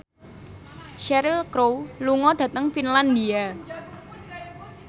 Cheryl Crow lunga dhateng Finlandia